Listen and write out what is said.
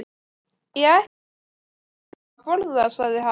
Ég ætla að fá mér eitthvað að borða sagði hann.